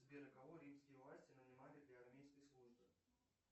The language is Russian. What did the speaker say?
сбер кого римские власти нанимали для армейской службы